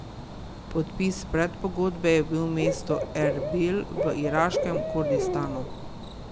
Podpis predpogodbe je bil v mestu Erbil v iraškem Kurdistanu.